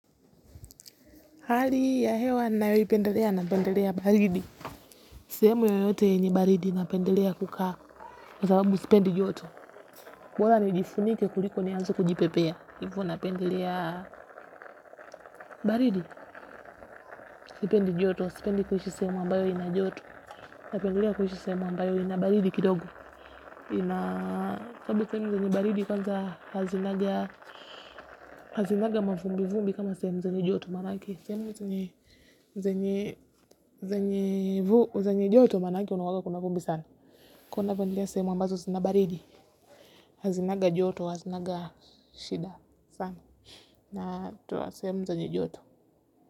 Hali ya hewa nayoipendelea napendelea baridi. Sehemu yoyote yenye baridi napendelea kukaa kwa sababu sipendi joto. Bora nijifunike kuliko nianze kujipepea. Kwa hivo napendelea baridi, sipendi joto, sipendi kuishi sehemu ambayo ina joto. Napendelea kuishi sehemu ambayo ina baridi kidogo. Kwa sababu sehemu zenye baridi kwanza hazinanga mavumbi vumbi kama sehemu zenye joto maanake sehemu zenye zenye joto bana aki kunakuanga kuna vumbi sana. Kwa hiyo napendelea sehemu ambazo zina baridi, hazinanga joto, hazinanga shida sana. Na toa sehemu zenye joto.